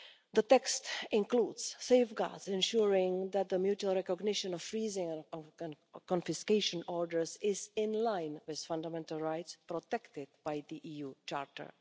The text includes safeguards ensuring that the mutual recognition of freezing or confiscation orders is, in line with fundamental rights, protected by the EU Charter.